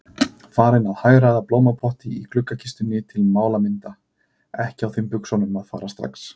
Farin að hagræða blómapotti í gluggakistunni til málamynda, ekki á þeim buxunum að fara strax.